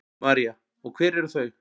María: Og hver eru þau?